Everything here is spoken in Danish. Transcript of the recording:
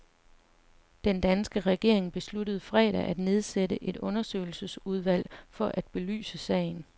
Den danske regering besluttede fredag at nedsætte et undersøgelsesudvalg for at belyse sagen.